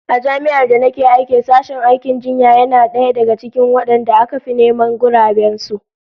A Jami'ar da nake aiki sashen aikin jinya yana daga cikin wadanda aka fi neman guraben su